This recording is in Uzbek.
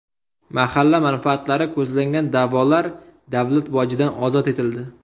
Mahalla manfaatlari ko‘zlangan da’volar davlat bojidan ozod etildi.